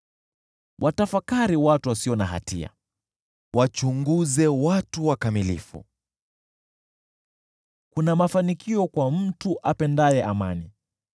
Watafakari watu wasio na hatia, wachunguze watu wakamilifu, kuna mafanikio kwa mtu apendaye amani.